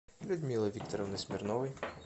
людмилы викторовны смирновой